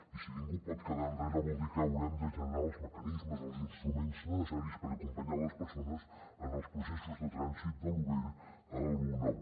i si ningú pot quedar enrere vol dir que haurem de generar els mecanismes els instruments necessaris per acompanyar les persones en els processos de trànsit de lo vell a lo nou